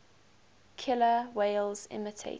killer whales imitating